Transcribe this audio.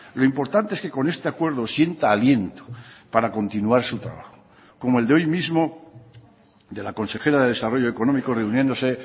lo importante es que con este acuerdo sienta aliento para continuar su trabajo como el de hoy mismo de la consejera de desarrollo económico reuniéndose